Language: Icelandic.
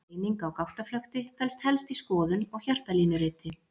Greining á gáttaflökti felst helst í skoðun og hjartalínuriti.